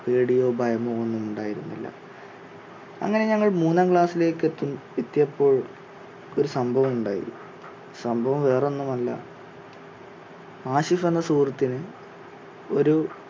പേടിയോ, ഭയമോ ഒന്നും ഉണ്ടായിരുന്നില്ല. അങ്ങനെ ഞങ്ങൾ മൂന്നാം class ലേക്ക് എത്തി~എത്തിയപ്പോൾ ഒരു സംഭവം ഉണ്ടായി സംഭവം വേറെ ഒന്നുമല്ല ആശിഷ് എന്ന സുഹൃത്തിന് ഒരു